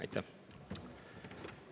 Aitäh!